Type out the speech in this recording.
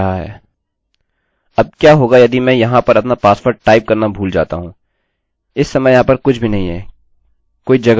अब क्या होगा यदि मैं वहाँ पर अपना पासवर्ड टाइप करना भूल जाता हूँ इस समय वहाँ पर कुछ भी नहीं है कोई जगह नहीं चलिए इससे छुटकारा पाते हैं